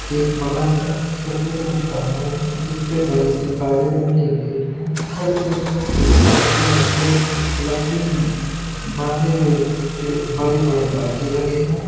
एक बड़ा सा सफ़ेद रंग का घर है जिस पे बड़े से काले रंग के गेट हैं। घर के छत पे ऊपर एक लकड़ी में बांधे हुए बड़े-बड़े बाजे लगे हैं।